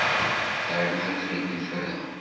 Það er nú heldur engin furða.